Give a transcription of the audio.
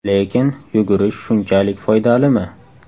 Lekin yugurish shunchalik foydalimi?